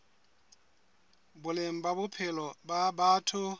boleng ba bophelo ba batho